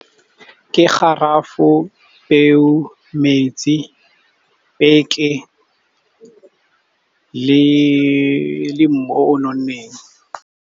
Ke garafo, peo, metsi, peke le mmu o nonneng.